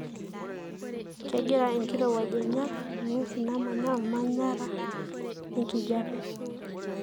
kengira enkirowuaj ainyial ingwesin namaanya olmanayaraa lenkijape.